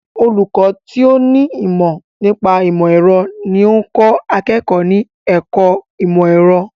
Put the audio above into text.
Olùkọ́ tó ní ìmọ̀ nípa ìmọ̀ ẹ̀rọ ní ó ń kọ́ akẹ́kọ̀ọ́ ní ẹ̀kọ́ ìmọ̀ ẹ̀rọ.